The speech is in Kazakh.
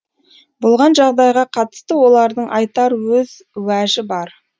болған жағдайға қатысты олардың айтар өз уәжі бар